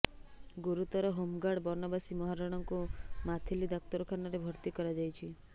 ଗୁରୁତର ହୋମଗାର୍ଡ ବନବାସୀ ମହାରଣାଙ୍କୁ ମାଥିଲି ଡାକ୍ତରଖାନାରେ ଭର୍ତ୍ତି କରାଯାଇଛି